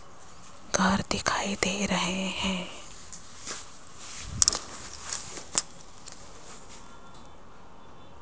घर दिखाई दे रहे हैं।